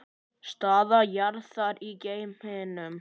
Staða jarðar í geimnum